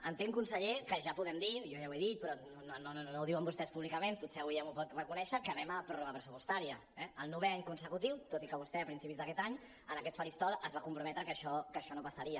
entenc conseller que ja podem dir jo ja ho he dit però no ho diuen vostès públicament potser avui ja m’ho pot reconèixer que anem a pròrroga pressupostària eh el novè any consecutiu tot i que vostè a principis d’aquest any en aquest faristol es va comprometre que això no passaria